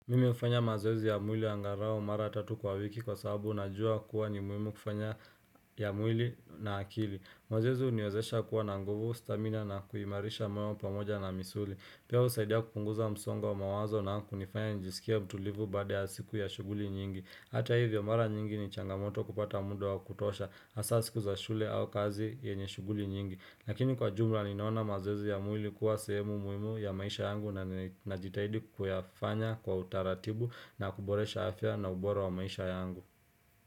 Mimi hufanya mazoezi ya mwili angalau mara tatu kwa wiki kwa sababu unajua kuwa ni muhimu kufanya ya mwili na akili mazoezi huniwezesha kuwa na nguvu stamina na kuimarisha moyo pamoja na misuli Pia husaidia kupunguza msongo wa wa mawazo na kunifanya njisikie mtulivu baada ya siku ya shughuli nyingi Hata hivyo mara nyingi ni changamoto kupata muda wa kutosha hasaa siku za shule au kazi yenye shughuli nyingi Lakini kwa jumla ninaona mazoezi ya mwili kuwa sehemu muhimu ya maisha yangu na ninajitahidi kuyafanya kwa utaratibu na kuboresha afya na ubora wa maisha yangu.